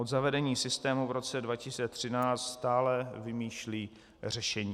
Od zavedení systému v roce 2013 stále vymýšlí řešení.